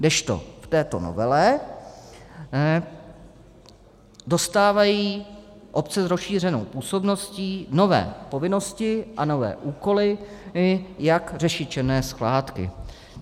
Kdežto v této novele dostávají obce s rozšířenou působností nové povinnosti a nové úkoly, jak řešit černé skládky.